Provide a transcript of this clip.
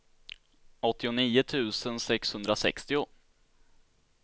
åttionio tusen sexhundrasextio